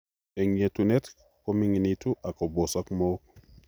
Eng' yeetuneet komingintu ak kobosok mook